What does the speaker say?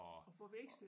At få vekslet